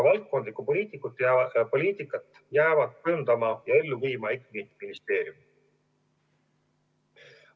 Valdkondlikku poliitikat jäävad kujundama ja ellu viima ikkagi ministeeriumid.